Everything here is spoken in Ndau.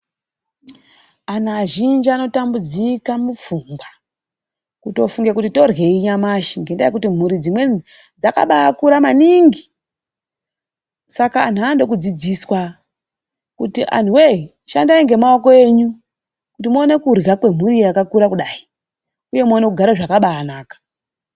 Antu azhinji anotambudzika mupfungwa. Kutofunga kuti toryei nyamashi. Ngendaa yekuti dzimweni mhuri dzakabaakura maningi. Saka antu anoda kudzidziswa, kuti antuwe-e, shandai ngemaoko enyu. Kuti muone kurya kwemhuri yakakura kudai. Uye muone kugara zvakabaanaka.